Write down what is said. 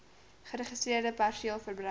geregistreerde perseel verbruik